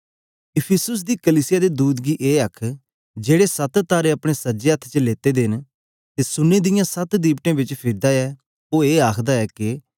इफिसुस दी कलीसिया दे दूत गी ए लेख जेड़े सत तारे अपने सज्जे अथ्थ च लेते दे न ते सुन्ने दियां सत दिवटें बिच फिरदा ऐ ओ ए आखदा ऐ के